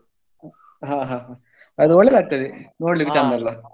ಹ ಹ ಅದು ಒಳ್ಳೇದಾಗ್ತದೆ ನೋಡ್ಲಿಕ್ಕೆ ಚಂದ ಅಲ.